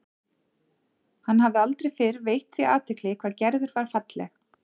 Hann hafði aldrei fyrr veitt því athygli hvað Gerður var falleg.